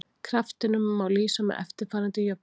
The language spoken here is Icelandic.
Kraftinum má lýsa með eftirfarandi jöfnu: